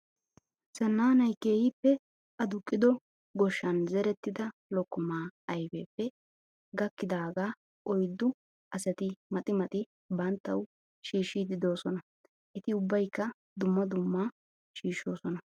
Zananayi keehippe aduqqido goshshan zerettida lokkomaa ayipee gakkidaagaa oyiddu asati maxi maxi banttawu shiishshiiddi doosona. Eti ubbayikka dumma dumma shiishshoosona.